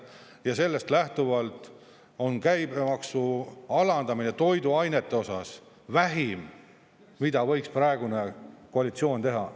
Ja sellest lähtuvalt on käibemaksu alandamine toiduainete osas vähim, mida võiks praegune koalitsioon teha.